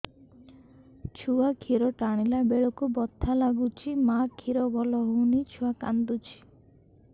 ଛୁଆ ଖିର ଟାଣିଲା ବେଳକୁ ବଥା ଲାଗୁଚି ମା ଖିର ଭଲ ହଉନି ଛୁଆ କାନ୍ଦୁଚି